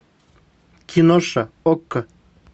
киноша окко